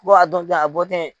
Ko a dɔn ten, a bɔ ten